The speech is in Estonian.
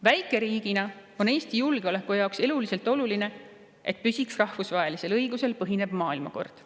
Väikeriigina on Eesti julgeoleku jaoks eluliselt oluline, et püsiks rahvusvahelisel õigusel põhinev maailmakord.